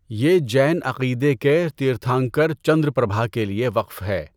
یہ جین عقیدے کے تیرتھنکر چندرپربھا کے لیے وقف ہے۔